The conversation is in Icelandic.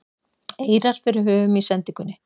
eirar fyrir höfum í sendingunni